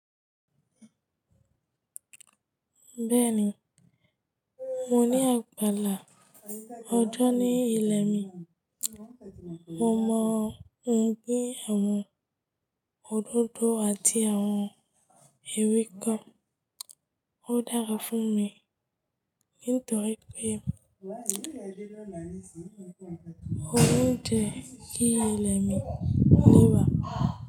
Bẹ́ẹ̀ni, mo ní àgbàlá. Ọjọ́ ni ilẹ̀ mi. Mo mọ̀ pé àwọn òdòdó àti àwọn ewé kan ó dára fún mi, nítoripe mo ń jẹ kìí ilẹ̀ mi nígbà.